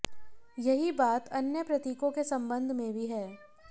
यही बात अन्य प्रतीकों के संबंध में भी है